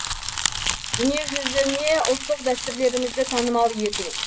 дүниежүзіне ұлттық дәстүрлерімізді танымал ету